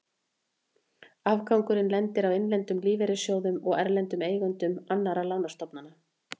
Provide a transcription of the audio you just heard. Afgangurinn lendir á innlendum lífeyrissjóðum og erlendum eigendum annarra lánastofnana.